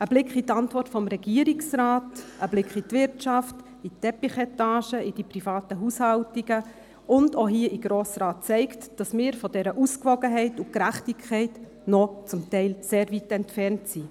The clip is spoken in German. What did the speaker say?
Ein Blick in die Antwort des Regierungsrates, ein Blick in die Wirtschaft, in die Teppichetage, in die privaten Haushaltungen und auch hier in den Grossen Rat zeigt, dass wir von dieser Ausgewogenheit und Gerechtigkeit zum Teil noch sehr weit entfernt sind.